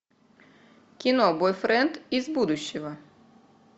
кино бойфренд из будущего